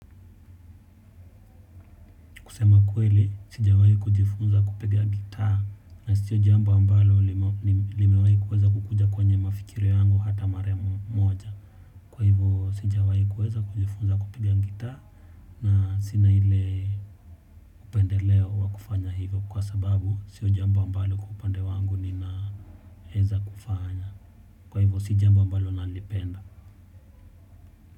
Kusema kweli sijawai kujifunza kupiga gitaa na siyo jambo ambalo limewai kuweza kukuja kwenye mafikira yangu hata mara moja. Kwa hivyo sijawai kuweza kujifunza kupiga gitaa na sina ile upendeleo wa kufanya hivyo kwa sababu siyo jambo ambalo kwa upande wangu ninaeza kufanya. Kwa hivyo si jambo ambalo nalipenda.